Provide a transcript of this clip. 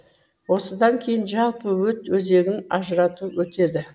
осыдан кейін жалпы өт өзегін ажырату өтеді